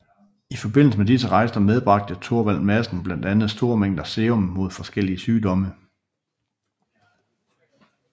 I forbindelse med disse rejser medbragte Thorvald Madsen blandt andet store mængder serum mod forskellige sygdomme